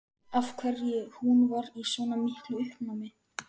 Af hverju hún var í svona miklu uppnámi.